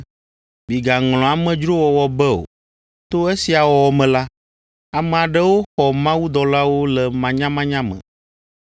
Migaŋlɔ amedzrowɔwɔ be o; to esia wɔwɔ me la, ame aɖewo xɔ mawudɔlawo le manyamanya me.